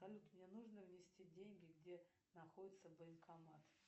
салют мне нужно внести деньги где находится банкомат